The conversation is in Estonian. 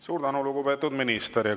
Suur tänu, lugupeetud minister!